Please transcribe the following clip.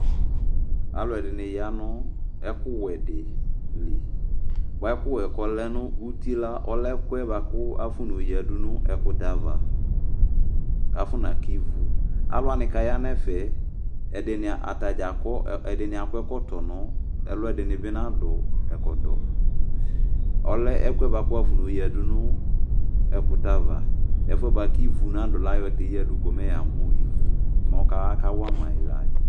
Alʋɛdɩnɩ ya nʋ ɛkʋwɛ dɩ li, bʋa ɛkʋwɛ yɛ kʋ ɔlɛ nʋ uti la, ɔlɛ ɛkʋ yɛ bʋa kʋ afɔnayɔ yɔyǝdu nʋ ɛkʋtɛ ava kʋ afɔnaka ivu Alʋ wanɩ kʋ aya nʋ ɛfɛ yɛ, ɛdɩnɩ ata dza akɔ, ɛdɩnɩ akɔ ɛkɔtɔ nʋ ɛlʋ, ɛdɩnɩ bɩ nadʋ ɛkɔtɔ Ɔlɛ ɛkʋ yɛ bʋa kʋ wʋafɔneyǝdu nʋ ɛkʋtɛ ava, ɛfʋ yɛ bʋa kʋ ivu nadʋ la kʋ ayɔ tɛ yǝdu ko mɛ yamʋ ivu, mɛ akawa ma yɩ la yɛ